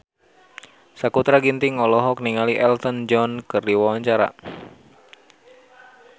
Sakutra Ginting olohok ningali Elton John keur diwawancara